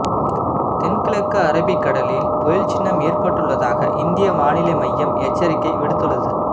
தென்கிழக்கு அரபிக்கடலில் புயல் சின்னம் ஏற்பட்டுள்ளதாக இந்திய வானிலை மையம் எச்சரிக்கை விடுத்துள்ளது